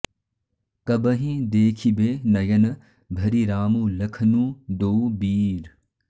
कबहिं देखिबे नयन भरि रामु लखनू दोउ बीर